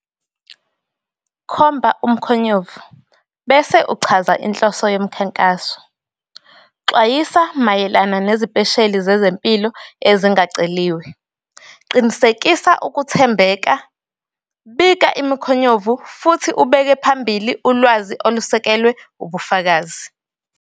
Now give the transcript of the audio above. Khomba umkhonyovu, bese uchaza inhloso yomkhankaso. Xwayisa mayelana nezipesheli zezempilo ezingaceliwe. Qinisekisa ukuthembeka, bika imikhonyovu futhi ubeke phambili ulwazi olusekelwe ubufakazi.